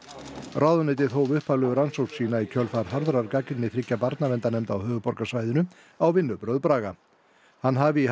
ráðuneytið hóf upphaflegu rannsókn sína í kjölfar harðrar gagnrýni þriggja barnaverndarnefnda á höfuðborgarsvæðinu á vinnubrögð Braga hann hafi í